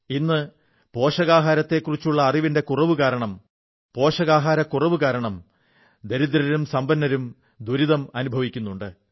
ഇന്ന് പോഷകാഹാരത്തെക്കുറിച്ചുള്ള അറിവിന്റെ കുറവു കാരണവും പോഷകക്കുറവുകാരണവും ദരിദ്രരും സമ്പരും ദുരിതം അനുഭവിക്കുന്നുണ്ട്